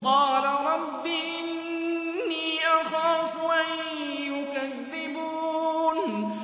قَالَ رَبِّ إِنِّي أَخَافُ أَن يُكَذِّبُونِ